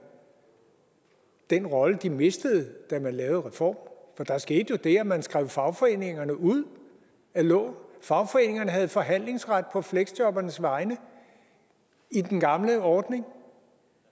den rolle tilbage de mistede da man lavede reformen for der skete jo det at man skrev fagforeningerne ud af loven fagforeningerne havde jo forhandlingsret på fleksjobbernes vegne i den gamle ordning